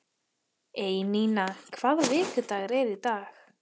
Einína, hvaða vikudagur er í dag?